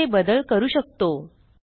आपण येथे बदल करू शकतो